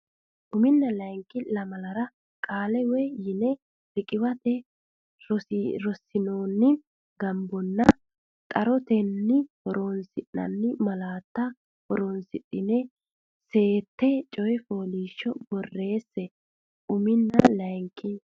uminna layinki lamalara Qaale woy yine riqiwate rossinoonni gombotenna xarote horonsi nanni malaate horonsidhine seette coy fooliishsho borreesse uminna layinki.